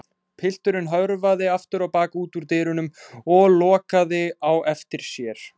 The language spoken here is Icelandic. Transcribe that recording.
Pilturinn hörfaði aftur á bak út úr dyrunum og lokaði á eftir sér.